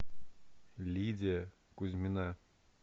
лидия кузьмина